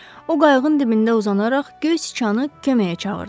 O qayığın dibində uzanaraq Göy Sıçanı köməyə çağırdı.